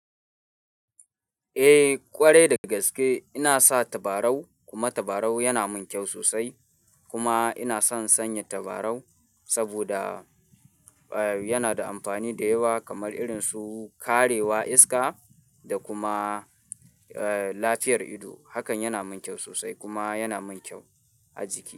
Eh ƙwarai daga gaske ina sa tabarau kuma tabarau yana min kyau sosai kuma ina son sanya tabarau saboda, eh yana da amfani da yawa kamar irin su karewa iska da kuma, eh lafiyar ido. Hakan yana min kyau sosai kuma yana min kyau a jiki.